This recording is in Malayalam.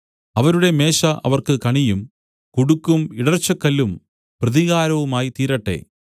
അവരുടെ മേശ അവർക്ക് കണിയും കുടുക്കും ഇടർച്ചക്കല്ലും പ്രതികാരവുമായിത്തീരട്ടെ